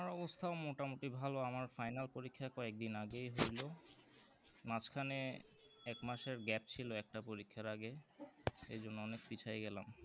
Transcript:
আমার অবস্থা মোটামুটি ভালো আমার final পরীক্ষা কয়েকদিন আগেই হইলো মাঝখানে এক মাসের gap ছিল একটা পরীক্ষার আগে সেই জন্য অনেক পিছায়ে গেলাম